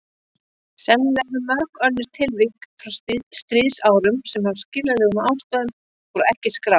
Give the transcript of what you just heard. Sennilega eru mörg önnur tilvik frá stríðsárunum sem af skiljanlegum ástæðum voru ekki skráð.